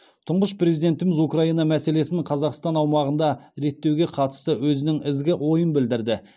тұңғыш президентіміз украина мәселесін қазақстан аумағында реттеуге қатысты өзінің ізгі ойын білдірді